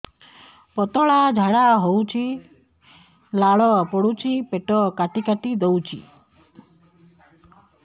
ପତଳା ଝାଡା ହଉଛି ଲାଳ ପଡୁଛି ପେଟ କାଟି କାଟି ଦଉଚି